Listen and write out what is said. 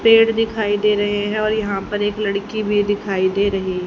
पेड़ दिखाई दे रहे हैं और यहां पर एक लड़की भी दिखाई दे रही--